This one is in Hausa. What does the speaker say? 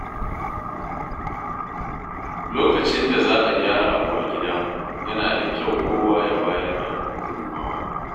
Lokacin da za a gyara abu a gida, yana da kyau kowa ya bayar da gudunmawa.